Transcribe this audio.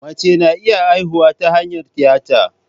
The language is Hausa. Mace na iya haihuwa ta hanyar tiyata.